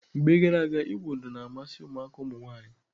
Mgbe gara aga, ịwụ ụdọ na-amasị ụmụaka ụmụnwaanyị.